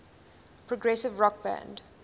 progressive rock band